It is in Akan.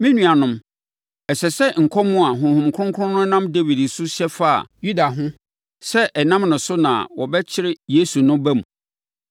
Me nuanom, ɛsɛ sɛ nkɔm a Honhom Kronkron no nam Dawid so hyɛ faa Yuda ho sɛ ɛnam ne so na wɔbɛkyere Yesu no ba mu.